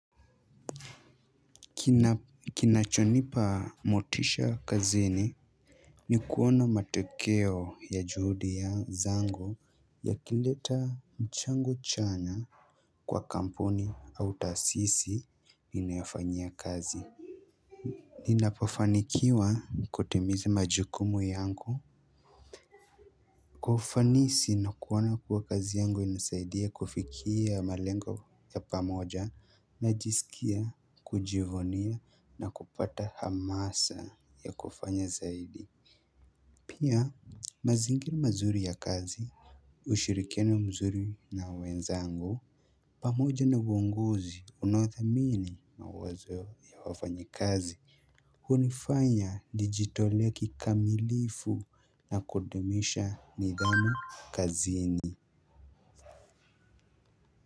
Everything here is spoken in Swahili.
Kinachonipa motisha kazini, ni kuona matokeo ya juhudi ya zangu yakileta mchango chanya kwa kampuni au taasisi ninayofanyia kazi. Ninapofanikiwa kutimiza majukumu yangu kwa ufanisi na kuona kuwa kazi yangu inasaidia kufikia malengo ya pamoja, najisikia kujivunia na kupata hamasa ya kufanya zaidi pia mazingira mazuri ya kazi, ushirikiano mzuri na wenzangu, pamoja na uongozi unaodhamini mawazo ya wafanyi kazi hunifanya nijitolee kikamilifu na kudumisha nidhamu kazini.